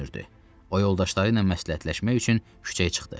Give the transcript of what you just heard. O yoldaşları ilə məsləhətləşmək üçün küçəyə çıxdı.